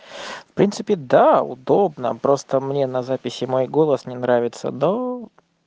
в принципе да удобно просто мне на записи мой голос не нравится но